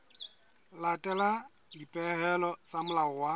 latela dipehelo tsa molao wa